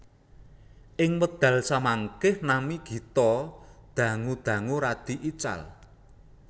Ing wekdal samangke nami Gito dangu dangu radi ical